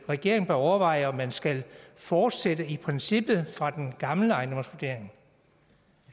regeringen bør overveje om man skal fortsætte princippet fra den gamle ejendomsvurdering